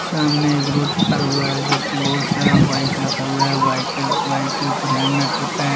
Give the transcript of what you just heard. सामने एक रोड पार हुआ है जो कि बहुत सारा बाइक रखा हुआ है व्हाइट के बाइक के ऊपर हेल्मेट रखा है।